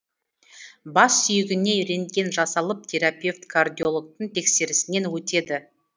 бас сүйегіне рентген жасалып терапевт кардиологтың тексерісінен өтеді